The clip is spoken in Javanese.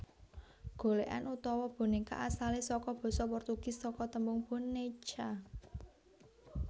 Golèkan utawa bonéka asalé saka basa Portugis saka tembung boneca